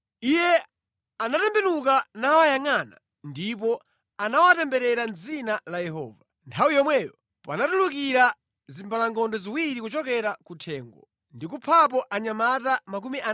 Iye anatembenuka nawayangʼana ndipo anawatemberera mʼdzina la Yehova. Nthawi yomweyo panatulukira zimbalangondo ziwiri kuchokera kuthengo, ndi kuphapo anyamata 42.